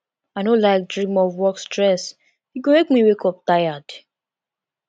i no like dream of work stress e go make me wake up tired